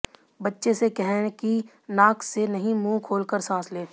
बच्चे से कहें कि नाक से नहीं मुंह खोलकर सांस ले